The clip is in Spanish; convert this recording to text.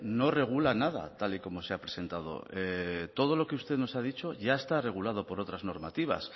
no regula nada tal y como se ha presentado todo lo que usted nos ha dicho ya está regulado por otras normativas